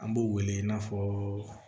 An b'u wele i n'a fɔ